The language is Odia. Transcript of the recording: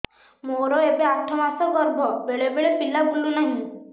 ମୋର ଏବେ ଆଠ ମାସ ଗର୍ଭ ବେଳେ ବେଳେ ପିଲା ବୁଲୁ ନାହିଁ